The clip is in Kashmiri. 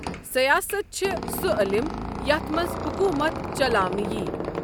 سِیاسَتھ چھےٚ سُہ عٔلم یَتھ مَنٛز حۆکوٗمَتھ چَلاونہٕ یِیہِ۔